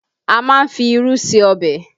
A má ń fi irú ṣe ọbẹ̀